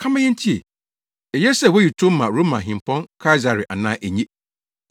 Ka ma yentie. Eye sɛ woyi tow ma Roma Hempɔn Kaesare anaa enye?”